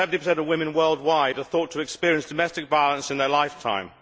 Up to 70 of women worldwide are thought to experience domestic violence in their lifetime.